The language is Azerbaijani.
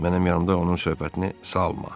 Mənim yanımda onun söhbətini salma.